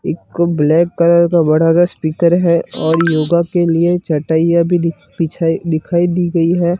एक black colour का बड़ा सा स्पीकर है और योगा के लिए चटाइया भी दि बिछाई दिखाई दी गई है।